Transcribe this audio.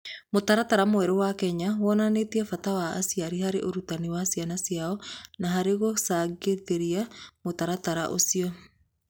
Mũtaratara mwerũ wa Kenya wonanĩtie bata wa aciari harĩ ũrutani wa ciana ciao na harĩ kũgaacĩrithia mũtaratara ũcio.